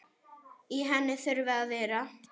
Í henni þurfa að vera